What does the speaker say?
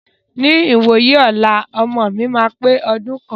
Ní ìwòyí ọlá, ọmọ mi máa pe ọdún kan.